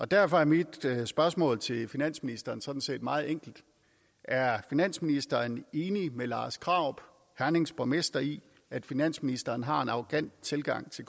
derfor er mit spørgsmål til finansministeren sådan set meget enkelt er finansministeren enig med lars krarup hernings borgmester i at finansministeren har en arrogant tilgang til